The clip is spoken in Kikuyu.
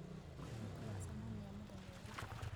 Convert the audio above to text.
Nĩtũgacemanĩa mũthenya ũngĩ.